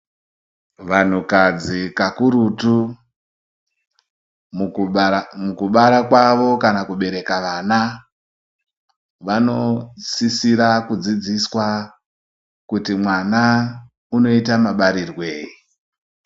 Vantukadzi kakurutu mukubara kwavo kana kubereka vana vanosisira kudzidziswa kuti mwana unoita mabarirwei.